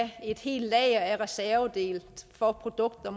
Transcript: et helt lager af reservedele for produkter